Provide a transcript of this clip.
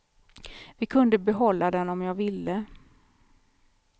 Vi kunde behålla den om jag ville.